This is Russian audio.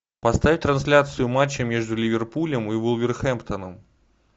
поставь трансляцию матча между ливерпулем и вулверхэмптоном